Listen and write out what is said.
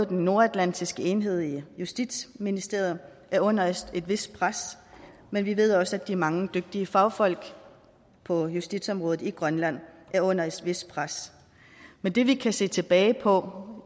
den nordatlantiske enhed i justitsministeriet er under et vist pres men vi ved også at de mange dygtige fagfolk på justitsområdet i grønland er under et vist pres men det vi kan se tilbage på